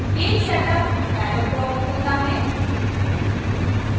page setup dialog box खुलता है